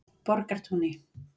Borgartúni